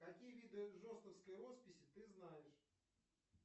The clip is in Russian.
какие виды жостовской росписи ты знаешь